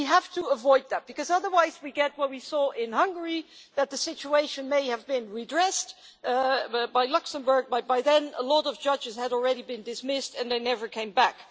We have to avoid that, because otherwise we get what we saw in Hungary the situation may have been redressed by Luxembourg, but by then a lot of judges had already been dismissed, and they never came back.